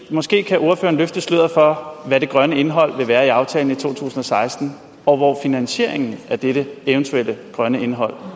måske kan ordføreren løfte sløret for hvad det grønne indhold vil være i aftalen i to tusind og seksten og hvor finansieringen til dette eventuelle grønne indhold